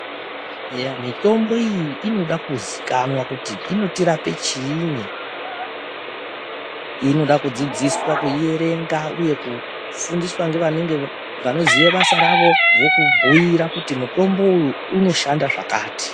Eya, mitombo iyi inoda kuziikanwa kuti, inotirape chiini. Inoda kudzidziswa kuierenga uye kufundiswa ngevanenge vanoziye basa ravo, vokubhuira kuti mutombo uyu, unoshanda zvakati.